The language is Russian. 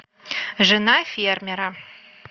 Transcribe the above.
жена фермера